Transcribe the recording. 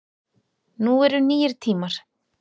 Nú eru nýir tímar